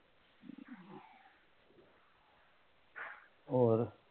ਹੋਰ